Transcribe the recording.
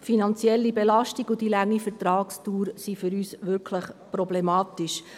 Die finanzielle Belastung und die lange Vertragsdauer sind für uns wirklich problematisch.